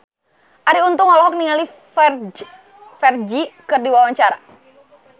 Arie Untung olohok ningali Ferdge keur diwawancara